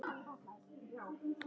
Þín Klara Árný.